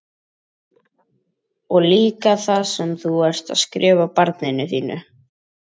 Og líka það sem þú ert að skrifa barninu þínu?